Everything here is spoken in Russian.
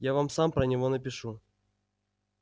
я вам сам про него напишу